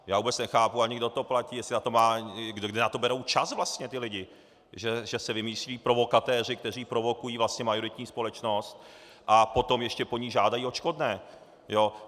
Já vůbec nechápu ani, kdo to platí, kde na to berou čas vlastně ti lidé, že se vymyslí provokatéři, kteří provokují majoritní společnost, a potom ještě po ní žádají odškodné.